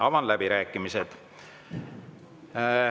Avan läbirääkimised.